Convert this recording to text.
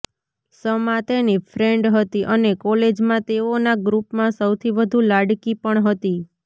શમા તેની ફ્રેન્ડ હતી અને કોલેજમાં તેઓના ગ્રૂપમાં સૌથી વધુ લાડકી પણ હતી